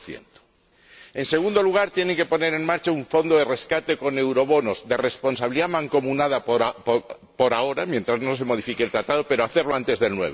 2 En segundo lugar, tiene que poner en marcha un fondo de rescate con eurobonos de responsabilidad mancomunada por ahora, mientras no se modifique el Tratado pero antes del